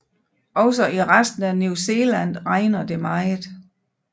Også i resten af New Zealand regner det meget